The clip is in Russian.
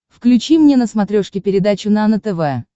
включи мне на смотрешке передачу нано тв